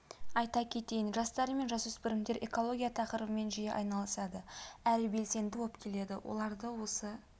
айта кетейін жастар мен жасөспірімдер экология тақырыбымен жиі айналысады әрі белсенді болып келеді оларды осы